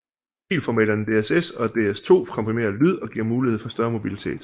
Filformaterne DSS og DS2 komprimerer lyd og giver mulighed for større mobilitet